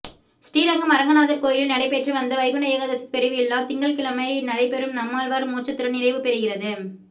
ஸ்ரீரங்கம் அரங்கநாதா் கோயிலில் நடைபெற்று வந்த வைகுந்த ஏகாதசி பெருவிழா திங்கள்கிழமை நடைபெறும் நம்மாழ்வாா் மோட்சத்துடன் நிறைவு பெறுகிறது